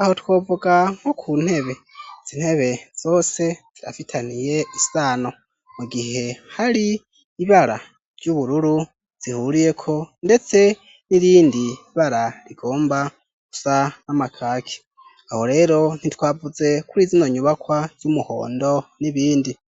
aho twovuga nko ku ntebe. Izi ntebe zose zirafitaniye isano mu gihe hari ibara ry'ubururu zihuriyeko ndetse n'irindi bara rigomba gusa n'amakaki aho rero ntitwavuze kuri zino nyubakwa z'umuhondo n'ibindi.